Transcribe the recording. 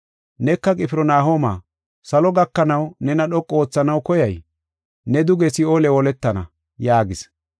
Neka Qifirnahooma, salo gakanaw nena dhoqu oothanaw koyay? Ne duge Si7oole holetana” yaagis.